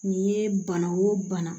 Nin ye bana o bana